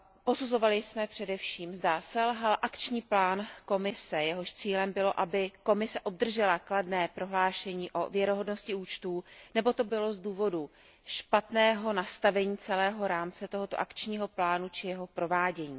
Posuzovali jsme především, zda selhal akční plán Komise, jehož cílem bylo, aby Komise obdržela kladné prohlášení o věrohodnosti účtů, nebo to bylo z důvodů špatného nastavení celého rámce tohoto akčního plánu či jeho provádění.